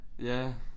Ja